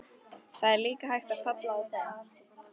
Það er líka hægt að falla á þeim.